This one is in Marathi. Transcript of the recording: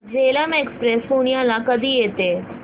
झेलम एक्सप्रेस पुण्याला कधी येते